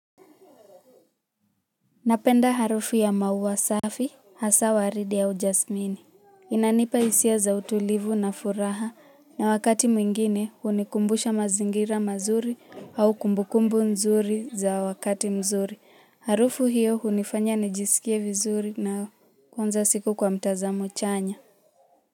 Napenda harufu ya maua safi, hasa waridi au jasmini. Inanipa hisia za utulivu na furaha na wakati mwingine hunikumbusha mazingira mazuri au kumbukumbu nzuri za wakati mzuri. Harufu hiyo hunifanya nijiskie vizuri na kuanza siku kwa mtazamo chanya.